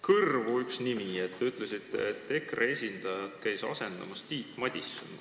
Mulle jäi kõrvu üks nimi: te ütlesite, et EKRE esindajat käis komisjonis asendamas Tiit Madison.